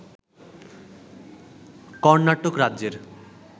কর্ণাটক রাজ্যের